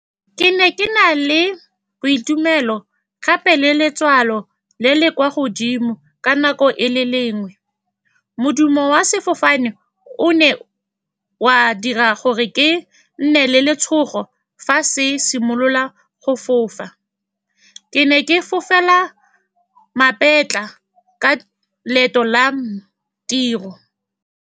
Ke ne ke na le boitumelo, gape le letswalo le le kwa godimo. Ka nako e le lengwe, modumo wa sefofane o ne wa dira gore ke nne le letshogo. Fa se simolola go fofa, ke ne ke fofela Mapetla ka loeto la tiro.